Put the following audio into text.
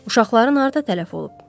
Uşaqların harda tələf olub?